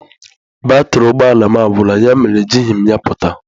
Batrị ụgbọ ala m agwuola, ya mere ejighị m ya pụta.